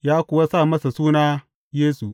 Ya kuwa sa masa suna Yesu.